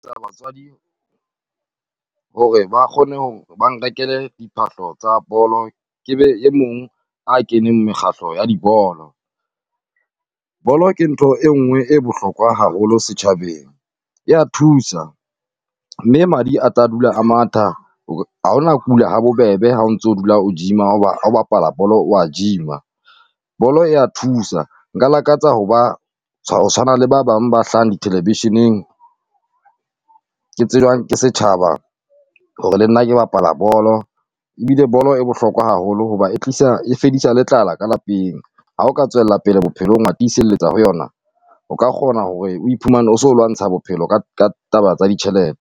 hore ba kgone hore ba nrekele diphahlo tsa bolo, ke be e mong a keneng mekgahlo ya di bolo. Bolo ke ntho e nnwe e bohlokwa haholo setjhabeng ya thusa, mme madi a tla dula a matha ha o na kula ha bobebe ha o ntso dula o gym-a hoba ha o bapala bolo wa gym-a. Bolo ya thusa nka lakatsa ho ba tshwana le ba bang ba hlahang dithelevisheneng, ke tsejwang ke setjhaba hore le nna ke bapala bolo. Ebile bolo e bohlokwa haholo hoba e tlisa e fedisa le tlala ka lapeng, ha o ka tswella pele bophelong wa tiselletsa ho yona, o ka kgona hore o iphumane o so lwantsha bophelo ka taba tsa di